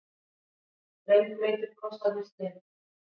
Rennblautir kossarnir streymdu.